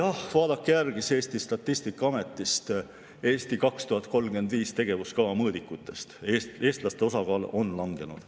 Jah, vaadake järele Eesti Statistikaameti, kus on "Eesti 2035" tegevuskava mõõdikud: eestlaste osakaal on langenud.